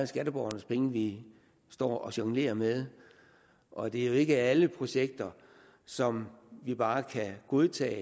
skatteborgernes penge vi står og jonglerer med og det er ikke alle projekter som vi bare kan godtage